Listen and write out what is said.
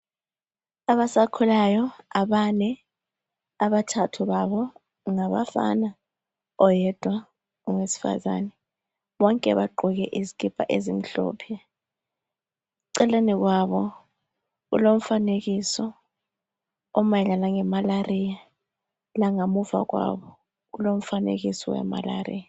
Abasakhulayo abane abathathu babo ngabafana oyedwa ngowesifazane bonke bagqoke izikipa ezimhlophe eceleni kwabo kulomfanekiso omayelane ngemalaria langemuva kwabo kumfanekiso omayelana ngemalaria